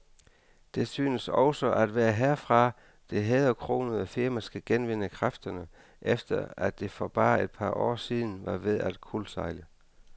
Det synes også at være herfra, det hæderkronede firma skal genvinde kræfterne, efter at det for bare et par år siden var ved at kuldsejle.